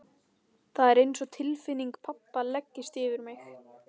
Það er einsog tilfinning pabba leggist yfir mig.